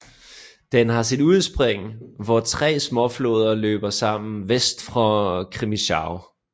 Den har sit udspring hvor tre småfloder løber sammen vest for Crimmitschau